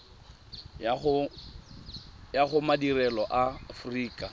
ya go madirelo a aforika